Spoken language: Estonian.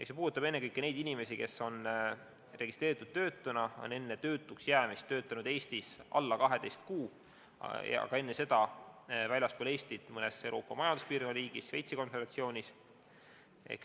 See puudutab ennekõike neid inimesi, kes on registreeritud töötuna, on enne töötuks jäämist töötanud Eestis alla 12 kuu, aga enne seda väljaspool Eestit mõnes Euroopa Majanduspiirkonna riigis või Šveitsi Konföderatsioonis.